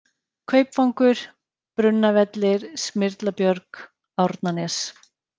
Kaupvangur, Brunnavellir, Smyrlabjörg, Árnanes